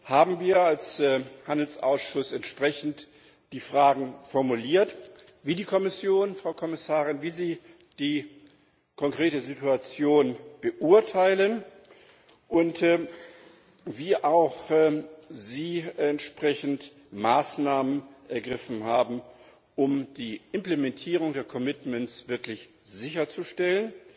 haben wir als Handelsausschuss entsprechend die Fragen formuliert, wie die Kommission, Frau Kommissarin, wie Sie die konkrete Situation beurteilen und welche entsprechenden Maßnahmen Sie ergriffen haben, um die Implementierung der commitments wirklich sicherzustellen.